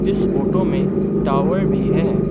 इस फोटो में टावर भी है।